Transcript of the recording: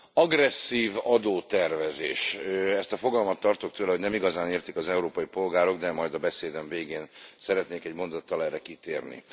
Agresszív adótervezés ezt a fogalmat, tartok tőle, hogy nem igazán értik az európai polgárok, de majd a beszédem végén szeretnék egy mondattal erre kitérni.